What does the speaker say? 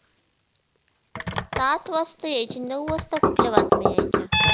सात वाजता यायची नऊ वाजता कुठल्या बातम्या यायच्या